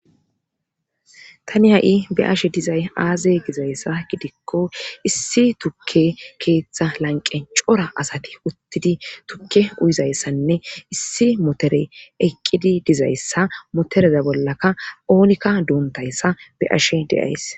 Tani ha7i be ashe dizay aaze gizayssa gidikko issi tukke keeththa lanqe cora asati uttidi tukke uyizayssanne issi motere eqqidi dizayssa motoreza bollaka oonikka duuntayssa be ashe deyays